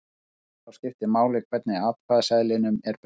Þá skiptir máli hvernig atkvæðaseðlinum er breytt.